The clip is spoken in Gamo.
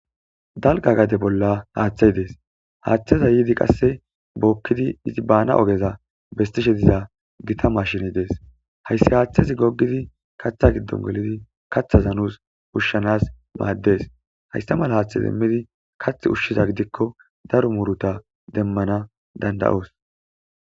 Dalga gade bolla hethey des hatheza qase yidi I bana ogeza besishe diza gita mashiney des haysi hathezi gogidi katha gido gelidi kathataza nus oshanas mades haysa mala hatheza kathi ushiza gidiko daro muruta demanas danda'os